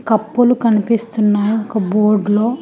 కప్పులు కనిపిస్తున్న ఒక బోర్డులో .